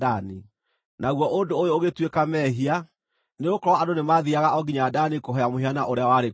Naguo ũndũ ũyũ ũgĩtuĩka mehia; nĩgũkorwo andũ nĩmathiiaga o nginya Dani kũhooya mũhianano ũrĩa warĩ kũu.